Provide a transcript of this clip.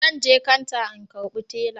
Zanje kanta in karbi tela